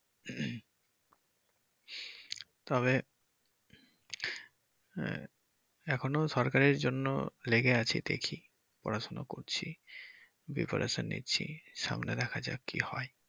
তবে আহ এখনো সরকারির জন্য লেগে আছি দেখি পড়াশুনার করছি প্রিপারেশন নিচ্ছি সামনে দেখা যাককি হয়।